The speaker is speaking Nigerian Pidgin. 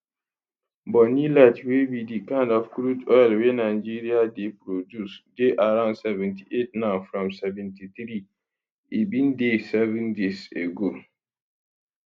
bonny light wey be di kind of crude oil wey nigeria dey produce dey around 78 now from 73 e bin dey seven days ago